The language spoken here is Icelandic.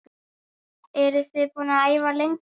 Eruð þið búin að æfa lengi?